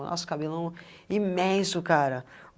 Nossa, cabelão é imenso, cara.